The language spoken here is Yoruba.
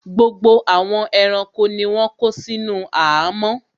Gbogbo àwọn ẹranko ni wọ́n kó sínú àhámọ́